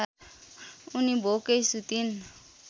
उनी भोकै सुतिन्